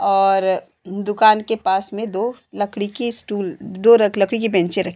और दुकान के पास मे दो लकड़ी की स्टूल दो लकड़ी के बेंचे रखी --